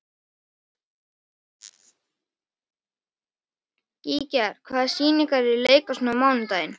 Gígjar, hvaða sýningar eru í leikhúsinu á mánudaginn?